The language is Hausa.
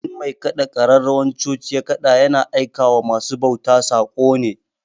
In mai kaɗa ƙararrawan coci ya ƙada ya na aika wa ma su bauta saƙo ne